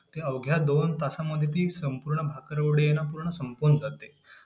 ते अवघ्या दोन तासांमध्ये ती संपूर्ण भाकरवडी आहे ना संपूर्ण संपून जाते.